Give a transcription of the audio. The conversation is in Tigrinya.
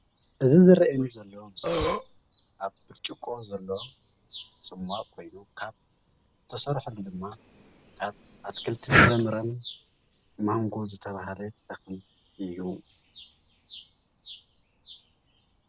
እዚ ዝረአየኒ ዘሎ ምስሊ ኣብ ብርጭቆ ዘሎ ፀሟቅ ኮይኑ ካብ ዝተሰርሐሉ ድማ ካብ ኣትክልትን ፍራምረን ማንጎ ዝተባሃለ ተክሊ እዩ፡፡